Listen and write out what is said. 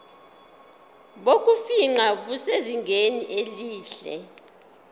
bokufingqa busezingeni elihle